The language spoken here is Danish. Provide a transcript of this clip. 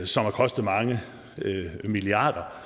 som har kostet mange milliarder